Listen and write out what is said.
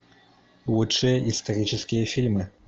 лучшие исторические фильмы